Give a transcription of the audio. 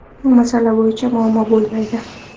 Bu masala bo‘yicha muammo bo‘lmaydi.